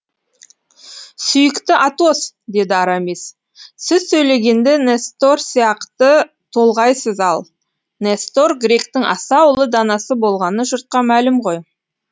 сүйікті атос деді арамис сіз сөйлегенде нестор сияқты толғайсыз ал нестор гректің аса ұлы данасы болғаны жұртқа мәлім ғой